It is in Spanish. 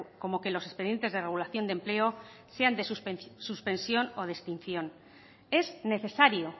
como que los expedientes de regulación de empleo sean de suspensión o de extinción es necesario